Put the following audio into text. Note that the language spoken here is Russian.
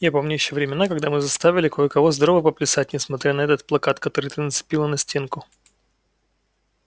я помню ещё времена когда мы заставили кое-кого здорово поплясать несмотря на этот плакат который ты нацепила на стенку